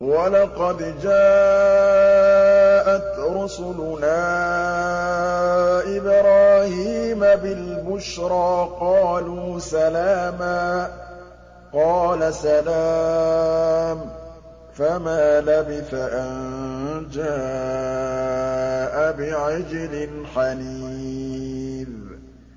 وَلَقَدْ جَاءَتْ رُسُلُنَا إِبْرَاهِيمَ بِالْبُشْرَىٰ قَالُوا سَلَامًا ۖ قَالَ سَلَامٌ ۖ فَمَا لَبِثَ أَن جَاءَ بِعِجْلٍ حَنِيذٍ